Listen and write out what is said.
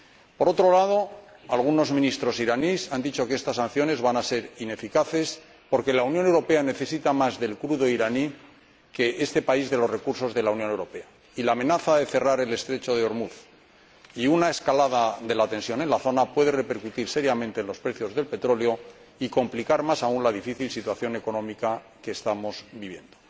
Por otro lado, algunos ministros iraníes han dicho que estas sanciones van a ser ineficaces, porque la Unión Europea necesita más del crudo iraní que este país de los recursos de la Unión Europea, y la amenaza de cerrar el estrecho de Ormuz y de una escalada de la tensión en la zona puede repercutir seriamente en los precios del petróleo y complicar más aún la difícil situación económica que estamos viviendo.